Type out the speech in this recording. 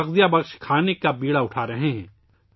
غذائیت سے بھرپور خوراک کا بیڑا اٹھا رہا ہیں